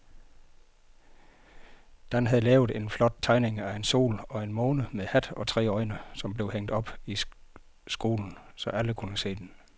Dan havde lavet en flot tegning af en sol og en måne med hat og tre øjne, som blev hængt op i skolen, så alle kunne se den.